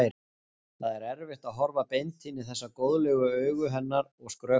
Það er erfitt að horfa beint inn í þessu góðlegu augu hennar og skrökva.